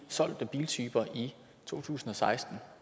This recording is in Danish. solgte biltyper i to tusind og seksten